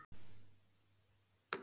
Merkúr